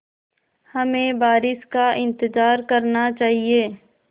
हमें बारिश का इंतज़ार करना चाहिए